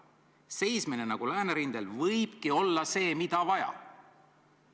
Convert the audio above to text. Seismine nagu läänerindel võibki olla see, mida vaja.